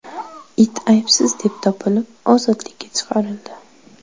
It aybsiz deb topilib, ozodlikka chiqarildi.